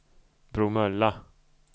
Bromölla